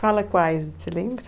Fala quais, você lembra?